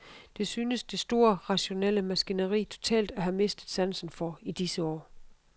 Det synes det store rationelle maskineri totalt at have mistet sansen for i disse år.